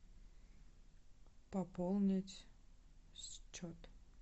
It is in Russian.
пополнить счет